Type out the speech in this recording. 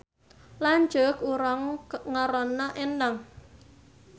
Lanceuk urang ngaranna Endang